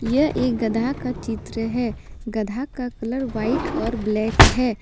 यह एक गधा का चित्र है गधा का कलर व्हाइट और ब्लैक है।